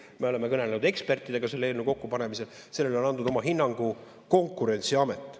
Me oleme kõnelenud ekspertidega selle eelnõu kokkupanemisel, sellele on andnud oma hinnangu Konkurentsiamet.